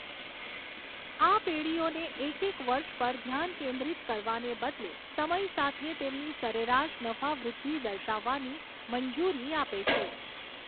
આ પેઢીઓને એક એક વર્ષ પર ધ્યાન કેન્દ્રિત કરવાને બદલે સમય સાથે તેમની સરેરાશ નફા વૃદ્ધિ દર્શાવવાની મંજૂરી આપે છે.